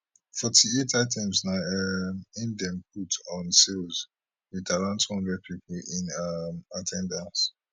forty eight items na um im dem put on sale with around 200 people in um at ten dance